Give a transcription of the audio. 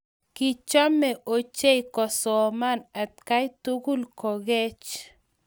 Kichome ochei kosoman atkai tugul kokeech.